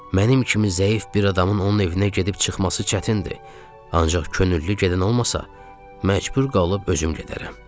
Mənim kimi zəif bir adamın onun evinə gedib çıxması çətindir, ancaq könüllü gedən olmasa, məcbur qalıb özüm gedərəm.